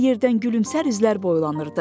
Hər yerdən gülümsər üzlər boylanırdı.